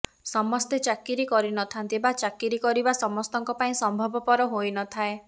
ସମସ୍ତେ ଚାକିରି କରିନଥାନ୍ତି ବା ପାଇଁ ଚାକିରି କରିବା ସମସ୍ତଙ୍କ ପାଇଁ ସମ୍ଭବପର ହୋଇନଥାଏ